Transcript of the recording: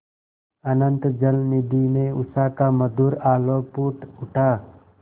अनंत जलनिधि में उषा का मधुर आलोक फूट उठा